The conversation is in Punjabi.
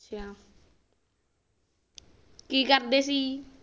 ਅੱਛਾ ਕੀ ਕਰਦੇ ਸੀ ਜੀ